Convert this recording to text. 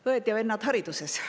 Head õed ja vennad hariduses!